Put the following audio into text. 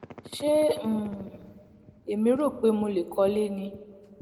ṣé um èmi rò pé mo lè kọ́lé ni